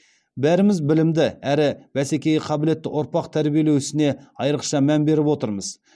бәріміз білімді әрі бәсекеге қабілетті ұрпақ тәрбиелеу ісіне айрықша мән беріп отырмыз